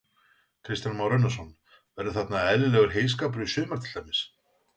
Kristján Már Unnarsson: Verður þarna eðlilegur heyskapur í sumar til dæmis?